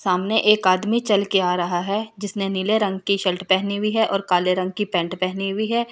सामने एक आदमी चल के आ रहा है जिसने नीले रंग की शर्ट पहनी हुई है और काले रंग की पैंट पहनी हुई है।